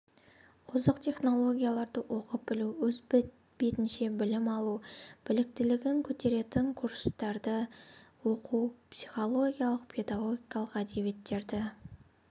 озық технологияларды оқып білу өз бетінше білім алу біліктілігін көтеретін курстарда оқу психологиялық-педагогикалық әдебиеттерді